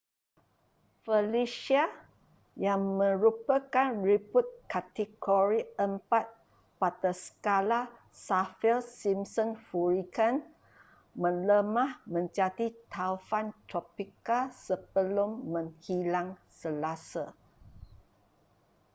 felicia yang merupakan ribut kategori 4 pada skala saffir-simpson hurricane melemah menjadi taufan tropika sebelum menghilang selasa